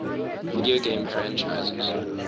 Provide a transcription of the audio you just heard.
video game franchises